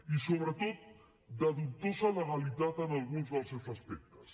i sobretot de dubtosa legalitat en alguns dels seus aspectes